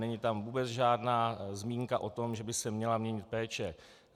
Není tam vůbec žádná zmínka o tom, že by se měla měnit péče.